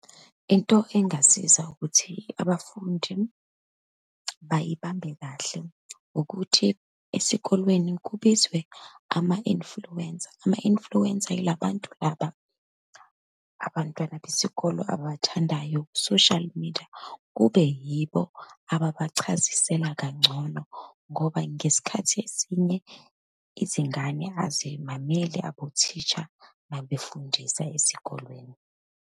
Into engasiza ukuthi abafundi bayibambe kahle, ukuthi esikolweni kubizwe ama-influencer. Ama-influencer yilabantu laba, abantwana besikolo ababathandayo ku-social media, kube yibo ababachazisela kangcono, ngoba ngesikhathi esinye, izingane azimameli abothisha uma befundisa ezikolweni.